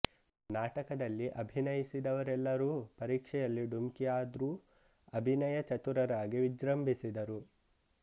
ನಾಟಕದಲ್ಲಿ ಅಭಿನಯಿಸಿದವರೆಲ್ಲರೂ ಪರೀಕ್ಷೆಯಲ್ಲಿ ಡುಮ್ಕಿ ಆದ್ರೂ ಅಭಿನಯ ಚತುರರಾಗಿ ವಿಜೃಂಭಿಸಿದರು